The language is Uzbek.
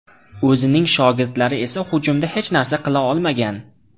O‘zining shogirdlari esa hujumda hech narsa qila olmagan.